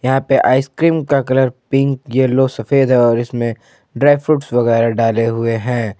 यहां पे आइसक्रीम का कलर पिंक येलो सफेद है और इसमें ड्राई फ्रूट्स वगैरा डाले हुए हैं।